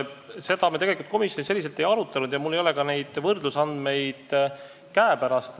Seda me tegelikult komisjonis ei arutanud ja mul ei ole ka võrdlusandmeid käepärast.